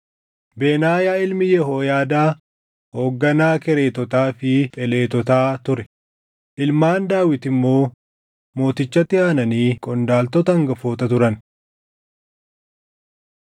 Benaayaa ilmi Yehooyaadaa hoogganaa Kereetotaa fi Pheletotaa ture; ilmaan Daawit immoo mootichatti aananii qondaaltota hangafoota turan.